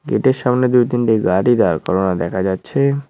গেটের সামনে দুই তিনটি গাড়ি দাঁড় করানো দেখা যাচ্ছে।